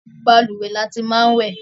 Balùwẹ́ ni a ti máa ń wẹ̀